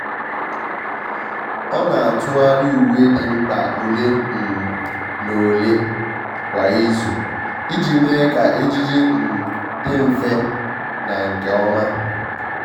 ọ́ nà-átụ́gharị uwe dị mkpa ole um na ole kwa ìzù iji mee kà ejiji um dị mfe na nke ọma.